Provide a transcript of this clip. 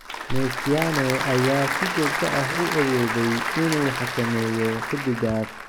Mesiano ayaa si joogto ah u awooday inuu xakameeyo xidiggaas.